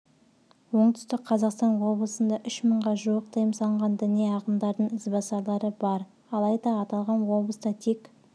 оңтүстік қазақстан облысында үш мыңға жуық тыйым салынған діни ағымдардың ізбасарлары бар алайда аталған облыста тек